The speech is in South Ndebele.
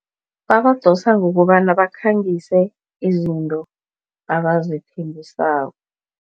Babadosa ngokobana bakhangise izinto abazithengisako.